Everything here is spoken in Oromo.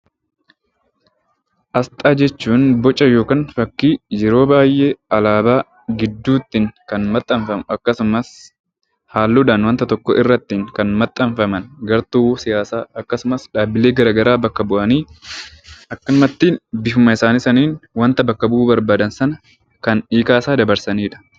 Asxaa jechuun boca yookaan fakkii yeroo baay'ee alaabaa gidduutti kan maxxanfamu akkasumas halluudhaan waanta tokko irratti kan maxxanfaman gartuu siyaasaa akkasumas dhaabbilee garagaraa bakka bu'aanii akkumattin bifuma isaanii saniin waanta bakka bu'uu barbaadan sana kan hiikaa isaa dabarsaniidha.